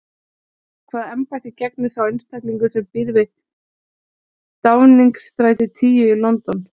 Hvaða embætti gegnir sá einstaklingur sem býr við Downingstræti tíu í London?